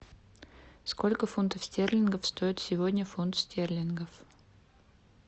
сколько фунтов стерлингов стоит сегодня фунт стерлингов